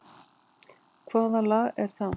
Hvaða lag er það?